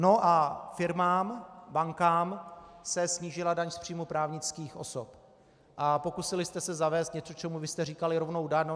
No a firmám, bankám se snížila daň z příjmu právnických osob a pokusili jste se zavést něco, čemu vy jste říkali rovná daň.